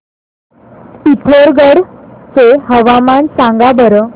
पिथोरगढ चे हवामान सांगा बरं